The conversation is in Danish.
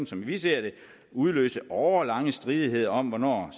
som vi ser det udløse årelange stridigheder om hvornår